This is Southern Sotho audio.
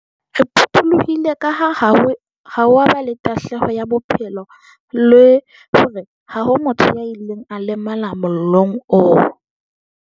Re phuthulohile kaha ha ho a ba le tahlelo ya bophelo le hore ha ho motho ya ileng a lemala mollong oo.